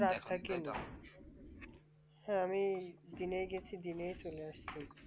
হ্যাঁ আমি দিনেই গিয়েছি দিনে চলে এসেছি